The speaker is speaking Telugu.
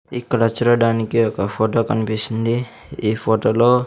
ఇక్కడ చూడడానికి ఒక ఫొటో కనిపిస్తుంది ఈ ఫోటో లో --